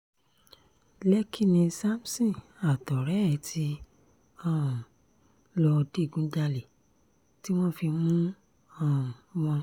lẹ́kkì ni samson àtọ̀rẹ́ ẹ̀ ti um lọ́ọ́ digunjalè tí wọ́n fi mú um wọn